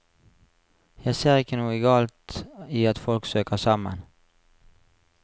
Jeg ser ikke noe galt i at folk søker sammen.